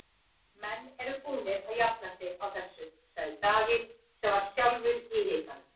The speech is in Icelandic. Menn eru búnir að jafna sig á þessu, sagði Davíð sem var sjálfur í hitanum.